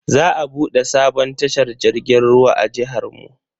Za a bude sabon tashar jirgin ruwa a jihar mu.